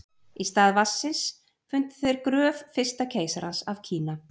í stað vatnsins fundu þeir gröf fyrsta keisarans af kína